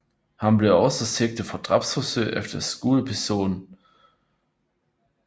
Han blev også sigtet for drabsforsøg efter skudepisoden